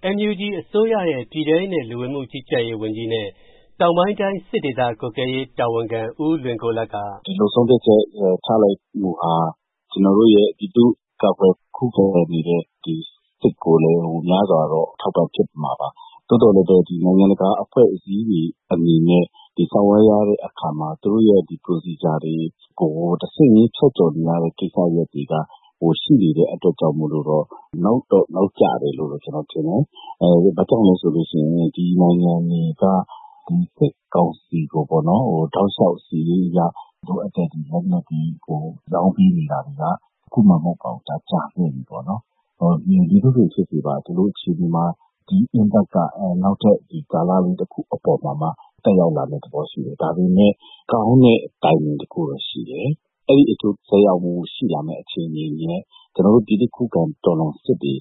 ။ NUG အစိုးရရဲ့ ပြည်ထဲရေး နဲ့ လူဝင်မှုကြီးကြပ်ရေးဝန်ကြီး နဲ့ တောင်ပိုင်းတိုင်း စစ်ဒေသကြီးကြပ်ရေးမှူး ဦးလွင်ကိုလတ် က ဦးလွင်ကိုလတ် ။. ။ ဒီလိုဆုံးဖြတ်ချက်ချလိုက်မှုဟာ ကျနော်တို့ရဲ့ ခုခံကာကွယ်နေတဲ့စစ်ကိုလည်း များစွာအထောက်အပန့်ဖြစ်မှာပါ။ သို့သော်လည်းပဲ နိုင်ငံတကာ အဖွဲ့အစည်းတွေအနေနဲ့ ဆောင်ရွက်ရတဲ့အခါမှာ သူတို့ရဲ့ Procedure တွေကို တဆင့်ချင်းဖြတ်ကျော်နေရတဲ့ကိစ္စတွေက ရှိနေတဲ့အတွက်ကြောင့် နောက်တော့ နောက်ကျတယ်လို့ ကျနော်ထင်တယ်။ ဘာကြောင့်လဲဆိုတော့ ဒီနိုင်ငံတွေက စစ်ကောင်စီကို တောက်လျှောက် လိုအပ်တဲ့ လက်နက်တွေကို ရောင်းပေးနေတာတွေက အခုမှမဟုတ်ပါဘူး။ ကြာခဲ့ပါပြီ။ မည်သို့ပင်ဖြစ်စေ ဒီ Impact က နောက်ထပ်ကာလလေးတခုမှာ သက်ရောက်လာမယ့်သဘောရှိတယ်။ ဒါပေမယ့် ကောင်းတဲ့အချေနေတခုတော့ရှိတယ်။ ကျနော်တို့ ပြည်သူခုခံတော်လှန်စစ်တွေ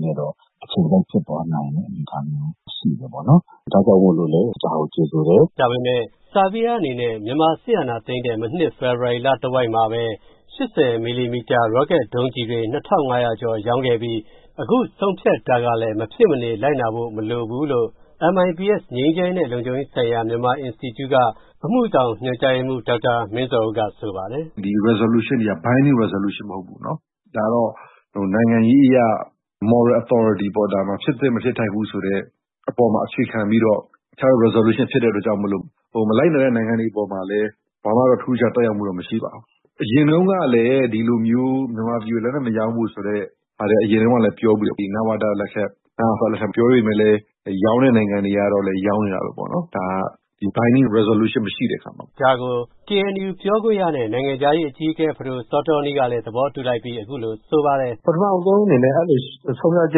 နဲ့တော့ အချိန်ကိုက်ဖြစ်သွားနိုင်တဲ့ အနေအထားတော့ရှိတယ်။ ဒါကြောင့်မိုလို့လည်း ကြိုဆိုပါတယ်။ ကိုဝင်းမင်း ။. ။ ဒါပေမယ့် ဆားဗီယားအနေနဲ့ မြန်မာစစ်အာဏာသိမ်းတဲ့ မနှစ် ဖေဖော်ဝါရီလတဝှိက်မှာပဲ ၈ဝ မမ ရောကက်ဒုံးကျည်တွေ ၂၅ဝဝ ကျော်ရောင်းခဲ့ပြီး အခုဆုံးဖြတ်တာကလည်း မဖြစ်မနေလိုက်နာဖို့ မလိုဘူးလို့ MITS ငြိမ်းချမ်းရေးနဲ့ လုံခြုံရေးဆိုင်ရာ မြန်မာ အင်စတီကျု့ က အမှုဆောင်ညွှန်ကြားရေးမှူး ဒေါက်တာမင်းဇော်ဦး က ဆိုပါတယ်။ ဒေါက်တာ မင်းဇော်ဦး ။. ။ ဒီဆုံးဖြတ်ချက်တွေက မဖြစ်မနေလိုက်နာရမယ့် Biding Resolution မဟုတ်ပါဘူး။ နိုင်ငံရေးအရ Moral authority ပေါ့။ မဖြစ်သင့်မဖြစ်ထိုက်ဖူးဆိုတဲ့အပေါ်မှုတည်ပြီးတော့ Resolution ဖြစ်တော့ မလိုက်နာတဲ့နိုင်ငံတွေအပေါ်မှာလည်း ဘာမှထူးထူးခြားခြားသက်ရောက်မှုတော့မရှိပါဘူး။ အရင်တုံးကလည်း မြန်မာပြည်ကို လက်နက်မရောင်းဖို့ ပြောဖူးတယ်။ ဒီ နဝတ၊နအဖ လက်ထက်တွေမှာ ပြောပေမယ့်လည်း ရောင်းတဲ့နိုင်ငံတွေကတော့ ရောင်းနေတာပဲပေါ့။ ဒီ Biding မရှိတဲ့အခါမှာပေါ့။ ကိုဝင်းမင်း ။. ။ ဒါကို KNU ပြောခွင့်ရနဲ့ နိုင်ငံခြားရေးအကြီးအကဲ ဖဒို စောတောနီး ကလည်း သဘောတူလိုက်ပြီး အခုလိုပြောပါတယ်။ ဖဒိုစောတောနီး ။. ။ ပထမဆုံး ဆုံးဖြတ်ချ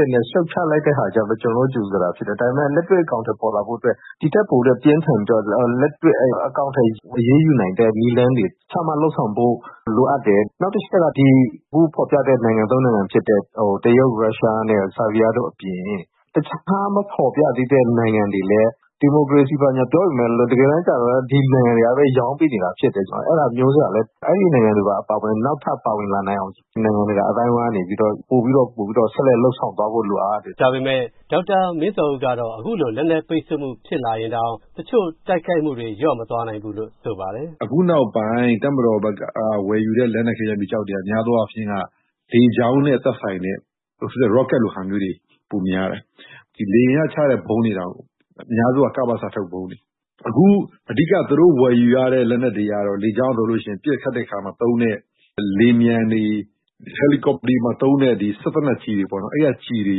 က်နဲ့ ရှုတ်ချလိုက်တာကတော့ ကျနော်တို့ ကြိုဆိုတာဖြစ်တယ်။ ဒါပေမယ့် လက်တွေ့အကောင်အထည်ဖော်တာကတော့ ဒီထက်ပိုပြီး ပြင်းထန်တဲ့ အရေးယူမှုတွေ ဆုံးဖြတ်ချက်တွေ ချမှတ်လုပ်ဆောင်ဖို့လိုအပ်တယ်။ နောက်တချက်က အခုဖော်ပြတဲ့ နိုင်ငံသုံးနိုင်ငံဖြစ်တဲ့ တရုတ် ၊ ရုရှားနဲ့ ဆားဗီးယားတို့အပြင် တခြားမဖော်ပြသေးတဲ့နိုင်ငံတွေလည်း ဒီမိုကရေစီ ဘာညာပြောပေမယ့် တကယ်တန်းကြတော့ ဒီနိုင်ငံတွေကပဲ ရောင်းပေးနေတာပဲ။ အဲဒါကြောင့် နောက်ထပ်ပါဝင်တဲ့နိုင်ငံတွေကိုလည်း နိုင်ငံတကာအသိုင်းအဝိုင်းကနေပြီးတော့ ပိုပြီးတော့ ဆက်လက်လုပ်ဆောင်သွားဖို့လိုအပ်ပါတယ်။ ကိုဝင်းမင်း ။. ။ ဒေါက်တာ မင်းဇော်ဦး ကတော့ အခုလို လက်နက်ပိတ်ဆို့မှုဖြစ်လာရင်တောင် တချို့တိုက်ခိုက်မှုတွေ လျော့မသွားနိုင်ဘူးလို့ဆိုပါတယ်။ ဒေါက်တာ မင်းဇော်ဦး ။. ။ အခုနောက်ပိုင်း တပ်မတော်ဖက်က ဝယ်ယူတဲ့ လက်နက်ခဲယမ်းမီးကျောက်တွေက များသောအားဖြင့် လေကြောင်းနဲ့ သက်ဆိုင်တဲ့ ရော့ကက်လို့ဟာမျိုးတွေ ပိုများတယ်။ လေယာဉ်ကချတဲ့ဗုံးတွေက အများအားဖြင့်က ကပစ က ဗုံးတွေ။ အဓိက သူတို့ဝယ်ယူရတဲ့ လက်နက်တွေကတော့ လေယာဉ်ပျံတွေ၊ ရဟတ်ယာဉ်တွေမှာ သုံးတဲ့ စက်သေနတ်ကြီးတွေပေါ့နော်။ အဲဒီက ကျည်တွေ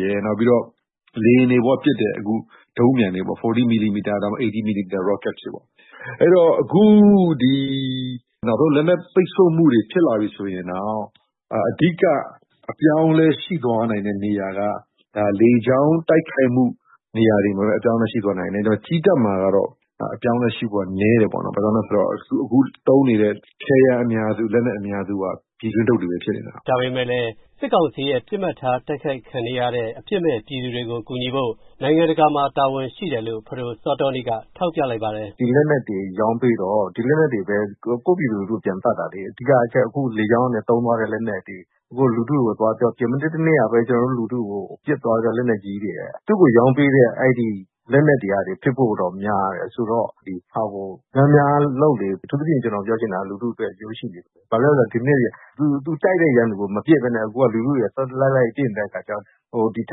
ရယ်၊ လေယာဉ်တွေပေါ်ကပစ်တဲ့ ဒုံးပျံတွေပေါ့။ ၄ဝ မမ ၊ ၈၀ မမ ရော့ကက်တွေ ။ အခု လက်နက်ပိတ်ဆို့မှုတွေဖြစ်လာပြီဆိုရင် အဓိက အပြောင်းအလည်းဖြစ်သွားနိုင်တဲ့နေရာက လေကြောင်းတိုက်ခိုက်မှုနေရာတွေမှာပဲ အပြောင်းအလည်းဖြစ်သွားနိုင်တယ်။ ကြည်းတပ်မှာကတော့ အပြောင်းအလည်းရှိဖု့ိက နည်းတယ်။ ဘာလို့ဆိုတော့ အခုသုံးနေတဲ့ လက်နက်အများစုက ပြည်တွင်းထုတ်တွေပဲဖြစ်တယ်။ ကိုဝင်းမင်း ။. ။ စစ်ကောင်စီ ရဲ့တိုက်ခိုက်ခံနေကြရတဲ့ အပစ်မဲ့ ပြည်သူတွေကို ကူညီဖို့ နိုင်ငံတကာမှာ တာဝန်ရှိတယ်လို့ ဖဒိုစောတောနီး က ထောက်ပြလိုက်ပါတယ်။ ဖဒိုစောတောနီး ။. ။ ဒီလက်နက်တွေ ရောင်းပြီးတော့ ဒီလက်နက်တွေပဲ ကိုယ့်ပြည်သူလူထု့ပြန်သတ်တာလေ။ အဓိကလေကြောင်းက သုံးတဲ့လက်နက်တွေ လူထု့ကို ပစ်သွားတဲ့လက်နက်ကြီးတွေက သူကိုယ်ရောင်းပေးတဲ့လက်နက်တွေဖြစ်ဖို့များတယ်။ အဓိက သူတိုက်တဲ့ ရန်သူကိုမပစ်ပဲနဲ့ လူထုတွေကို လိုက်လိုက်ပစ်နေတာ။ ဒီထ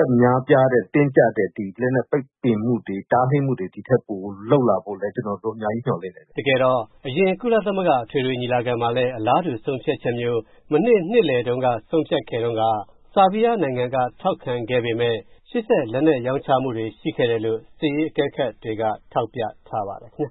က်များပြားတဲ့ တင်းကြပ်တဲ့လက်နက်ပိတ်ပင်မှုတွေ တားမြစ်မှုတွေလုပ်ဖို့ အများကြီးမျှော်လင့်တယ်။ တကယ်တော့ အရင် ကုလသမဂ္ဂအထွေထွေညီလာခံမှာလည်း အလားတူဆုံးဖြတ်ချက်မျိုး မနှစ် နှစ်လည်တုံးက ဆုံးဖြတ်ခဲ့တုံးက ဆားဗီးယားနိုင်ငံ က ထောက်ခံခဲ့ပေမယ် လက်နက်ရောင်းချမှုတွေရှိခဲ့တယ်လို့ စစ်ရေးအကဲခတ်တွေက ထောက်ပြထားကြပါတယ်ခင်ဗျ